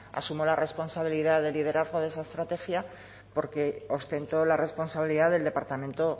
asumo la responsabilidad de liderazgo de esa estrategia porque ostento la responsabilidad del departamento